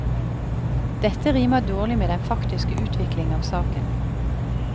Dette rimer dårlig med den faktiske utvikling av saken.